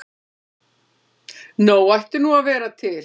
Nóg ætti nú að vera til.